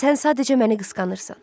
Sən sadəcə məni qısqanırsan.